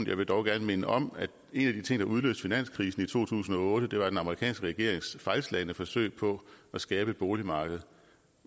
jeg vil dog gerne minde om at en af de ting der udløste finanskrisen i to tusind og otte var den amerikanske regerings fejlslagne forsøg på at skabe et boligmarked